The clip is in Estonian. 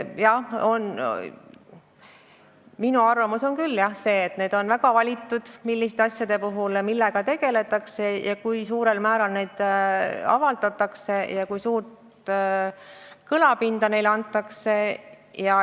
Jah, minu arvamus on küll see, et väga valitakse, milliste asjade puhul millega tegeletakse, kui suurel määral materjale avaldatakse ja kui suurt kõlapinda neile antakse.